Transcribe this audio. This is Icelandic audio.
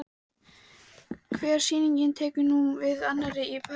Hver sýningin tekur nú við af annarri- Í París